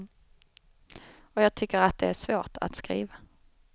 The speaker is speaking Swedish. Och jag tycker att det är svårt att skriva.